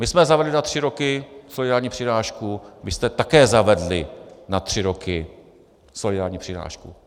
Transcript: My jsme zavedli na tři roky solidární přirážku, vy jste také zavedli na tři roky solidární přirážku.